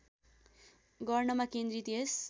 गर्नमा केन्द्रित यस